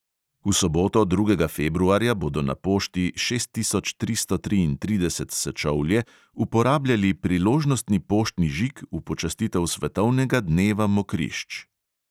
V soboto, drugega februarja, bodo na pošti šest tisoč tristo triintrideset sečovlje uporabljali priložnostni poštni žig v počastitev svetovnega dneva mokrišč.